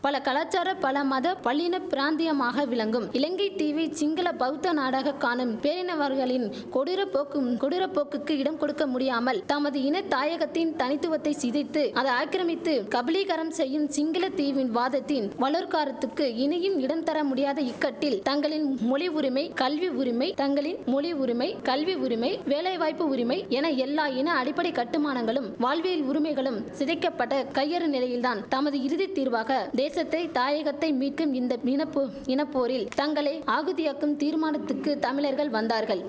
பல கலாச்சார பல மத பல்லின பிராந்தியமாக விளங்கும் இலங்கை தீவை சிங்கள பௌத்த நாடாக காணும் பேரினவார்களின் கொடூர போக்கும் கொடூர போக்குக்கு இடம்கொடுக்க முடியாமல் தமது இன தாயகத்தின் தனித்துவத்தை சிதைத்து அது ஆக்கிரமித்து கபிளீகரம் செய்யும் சிங்களர் தீவின் வாதத்தின் வலோற்காரத்துக்கு இனியும் இடம் தரமுடியாத இக்கட்டில் தங்களின் மொழி உருமை கல்வி உருமை தங்களின் மொழி உருமை கல்வி உருமை வேலை வாய்ப்பு உருமை என எல்லா இன அடிப்படை கட்டுமானங்களும் வாழ்வியல் உருமைகளும் சிதைக்கபட்ட கையறு நிலையில்தான் தமது இறுதி தீர்வாக தேசத்தை தாயகத்தை மீட்கும் இந்த இனப்பு இனபோரில் தங்களை ஆகுதியாக்கும் தீர்மானத்துக்கு தமிழர்கள் வந்தார்கள்